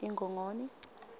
ingongoni